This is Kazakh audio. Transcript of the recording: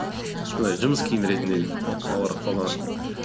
сондай жұмыс киім ретінде олар қолданады